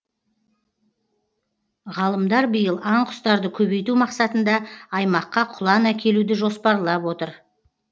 ғалымдар биыл аң құстарды көбейту мақсатында аймаққа құлан әкелуді жоспарлап отыр